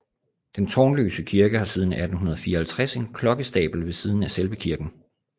Den tårnløse kirke har siden 1854 en klokkestabel ved siden af selve kirken